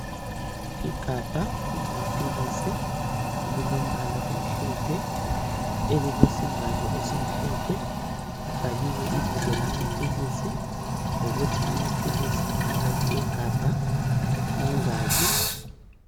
Igabha lamaphilisi elilombala omhlophe, elilesivalo esimhlophe, kubhaliwe ibizo lamaphilisi lokuthi amaphilisi aphakathi kwegabha mangaki.